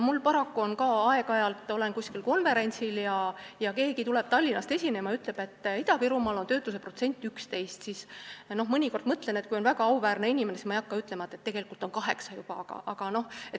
Paraku, kui ma aeg-ajalt olen mõnel konverentsil, kuhu on Tallinnast tulnud esinema keegi, kes ütleb, et Ida-Virumaal on töötuse protsent 11, siis ma mõnikord, kui see on väga auväärne inimene, mõtlen, et ma ei hakka ütlema, et tegelikult on see juba 8%.